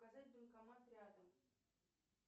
показать банкомат рядом